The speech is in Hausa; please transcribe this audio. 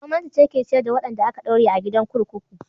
Gwamnati ce ke ciyar da wadanda aka daure a gidan kurkuku.